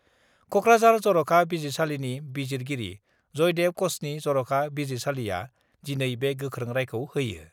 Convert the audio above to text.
कक्राझार जर'खा बिजिरसालिनि बिजिरगिरि जयदेब कचनि जर'खा बिजिरसालिआ दिनै बे गोख्रों रायखौ होयो।